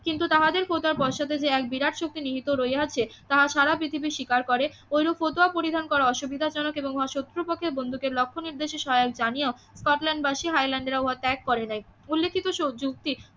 কিন্তু তাহাদের কথা বর্ষাতে যে এক বিরাট শক্তি নিহিত রহিয়াছে তাহা সাড়া পৃথিবী স্বীকার করে ওইরূপ ফতুয়া পরিণাম করা অসুবিধাজনক এবং শত্রু পক্ষের বন্ধুকে লক্ষ্য নির্দেশে সহায়ক জানিয়েও স্কটল্যান্ডবাসী হাইল্যান্ডের আবহাওয়া ত্যাগ করে নাই উল্লেখিত স্বযুক্তি